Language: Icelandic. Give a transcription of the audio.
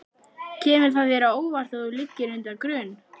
Kemur það þér á óvart að þú liggir undir grun?